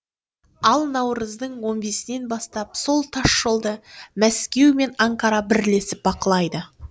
ал наурыздың он бесінен бастап сол тасжолды мәскеу мен анкара бірлесіп бақылайды